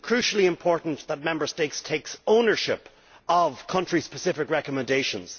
It is crucially important that Member States take ownership of the country-specific recommendations.